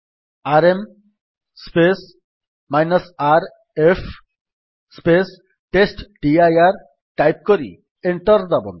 RM rf ଟେଷ୍ଟଡିର type କରି enter ଦାବନ୍ତୁ